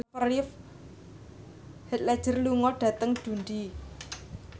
Heath Ledger lunga dhateng Dundee